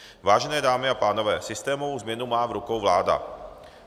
Vážené dámy a pánové, systémovou změnu má v rukou vláda.